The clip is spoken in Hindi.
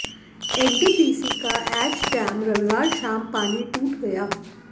एनटीपीसी का ऐश डैम रविवार शाम पानी टूट गया